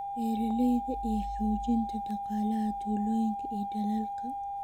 beeralayda iyo xoojinta dhaqaalaha tuulooyinka iyo dalalka.